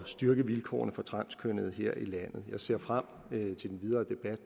styrke vilkårene for transkønnede her i landet og jeg ser frem til den videre debat